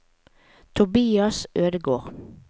Tobias Ødegård